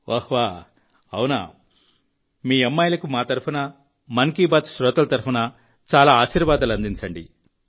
వహ్వా మీ అమ్మాయిలకు మా తరఫున మన్ కీ బాత్ శ్రోతల తరఫున చాలా ఆశీర్వాదాలు అందించండి